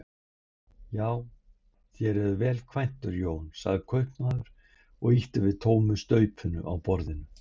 Já, þér eruð vel kvæntur Jón, sagði kaupmaður og ýtti við tómu staupinu á borðinu.